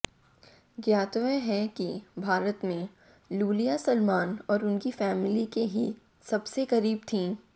ज्ञातव्य है कि भारत में लूलिया सलमान और उनकी फैमिली के ही सबसे करीब थीं